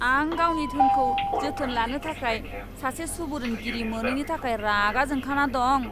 आं गावनि धोनखौ जोथोन लानो थाखाय सासे सुबुरुनगिरि मोनैनि थाखाय रागा जोंखाना दं।